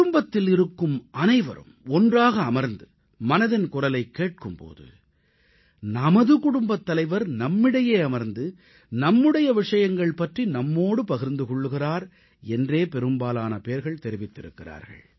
குடும்பத்தில் இருக்கும் அனைவரும் ஒன்றாக அமர்ந்து மனதின் குரலைக் கேட்கும் போது நமது குடும்பத் தலைவர் நம்மிடையே அமர்ந்து நம்முடைய விஷயங்கள் பற்றி நம்மோடு பகிர்ந்து கொள்கிறார் என்றே பெரும்பாலானோர் தெரிவித்திருக்கிறார்கள்